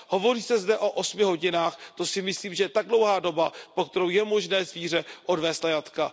Hovoří se zde o 8 hodinách, to si myslím, že je tak dlouhá doba, za kterou je možné zvíře odvézt na jatka.